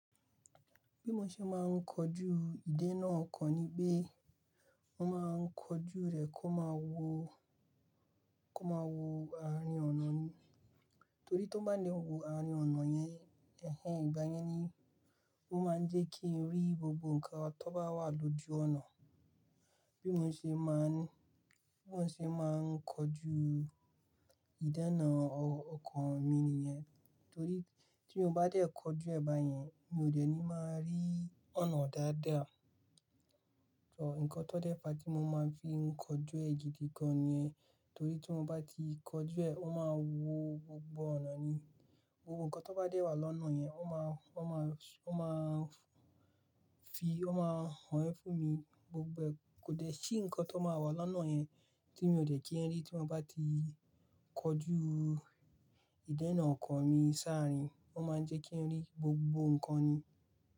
Bí mo ṣe máa ń kọju ìdénà ọkọ̀ ni pé, mo máa ń kọju rẹ̀ kó máa wo, kó máa wo àárín ọ̀nà ni. Torí tó bá lè wo àárín ọ̀nà yẹn, ẹ̀hẹ̀ǹ ìgbà yẹn ni ó máa ń jẹ́ kí n rí gbogbo nǹkan tó bá wà lójú ọ̀nà. Bí mo ṣe máa ń, bí mo ṣe máa ń kọju ìdénà ọkọ̀ mi nìyẹn. Torí tí mo bá dé kọju ẹ̀ bà yẹn, mi ò dẹ́ni máa rí ọ̀nà dáadáa. Ọ̀, nǹkan tó dẹ̀ fà átí mo máa ń fi kánjú ẹ̀ gidi gan nìyẹn. Torí tí mo bá ti kọju ẹ̀, ó máa wo gbogbo ọ̀nà ni. Ohun nǹkan tó bá dẹ̀ wà lọ́nà yẹn, ó máa, ó máa, ó máa ń fi, ó máa ń hàn ẹ́ fún mi. Gbogbo ẹ̀, kò dẹ̀ sí nǹkan tó máa wà lọ́nà yẹn tí mi ò dẹ́ kí ń rí tí mo bá ti kọjú ìdénà ọkọ̀ mi sáàrín. Ó máa ń jẹ́ kí n rí gbogbo nǹkan ni.